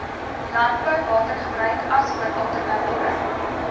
landbouwatergebruik asook alternatiewe